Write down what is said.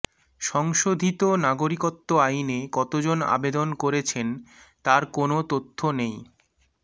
সংশোধিত নাগরিকত্ব আইনে কতজন আবেদন করেছেন তার কোনো তথ্য নেই